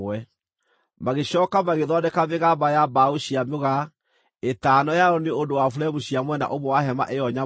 Magĩcooka magĩthondeka mĩgamba ya mbaũ cia mũgaa: ĩtano yayo nĩ ũndũ wa buremu cia mwena ũmwe wa hema ĩyo nyamũre,